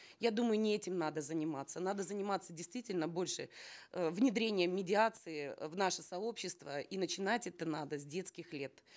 я думаю не этим надо заниматься надо заниматься действительно больше э внедрением медиации в наше сообщество и начинать это надо с детских лет